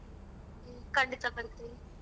ಕಂಡಿತ ಬರ್ತೀವರಿ.